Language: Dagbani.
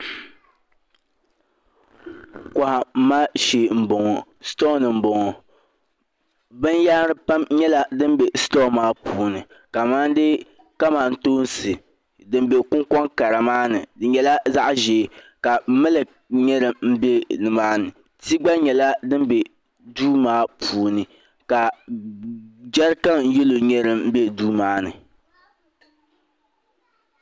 Kohamma shee m boŋɔ shitoɣuni m boŋɔ binyahari pam nyɛla din be sutoɣu maa puuni kamani kamantoosi m be kunkoŋ kara maa ni di nyɛla zaɣa ʒee miliki nyɛla din be nimaani ti gba nyɛla din be duu maa puuni ka jɛrikan yelo nyɛ din be duu maa ni.